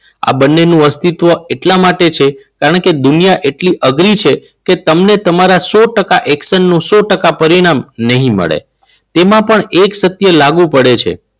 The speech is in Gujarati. આ બંનેનું અસ્તિત્વ એટલા માટે છે. કારણ કે દુનિયા એટલી અઘરી છે કે તમને તમારા સો ટકા એક્શન નું સો ટકા પરિણામ નહીં મળે. તેમાં પણ એક સત્ય લાગુ પડે છે.